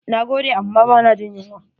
Na gode amma ba na jin yunwa.